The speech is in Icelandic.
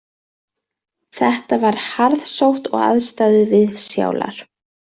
Þetta var harðsótt og aðstæður viðsjálar